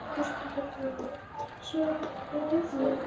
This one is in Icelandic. Höskuldur Kári: Sér eitthvað á honum?